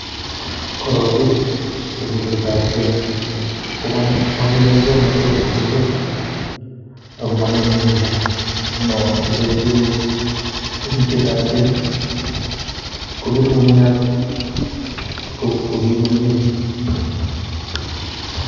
korongii temishet ab geny komongeme muswognotet ab emet ako mongeme ngungunyat, ngunon kepoishen temishwt ab keng kongetu ngungunyat komii komie.